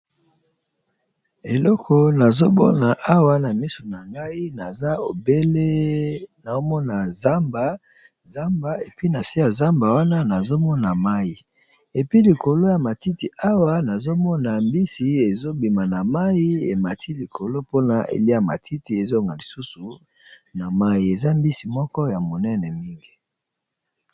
Eloko nazomona Awa na miso nangai obele nazomona zamba puis nase ya zamba wana mayi na matiti Awa nazomona mbisi ezo bima na mayi emati likolo po eliya matiti ezongo lisusu na mayi eza mbisi monene penza .